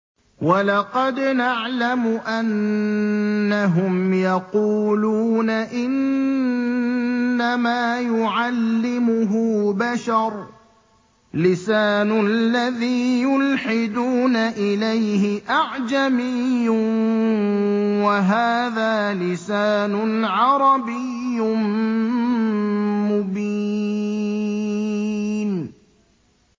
وَلَقَدْ نَعْلَمُ أَنَّهُمْ يَقُولُونَ إِنَّمَا يُعَلِّمُهُ بَشَرٌ ۗ لِّسَانُ الَّذِي يُلْحِدُونَ إِلَيْهِ أَعْجَمِيٌّ وَهَٰذَا لِسَانٌ عَرَبِيٌّ مُّبِينٌ